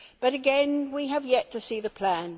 But again we have yet to see the plan.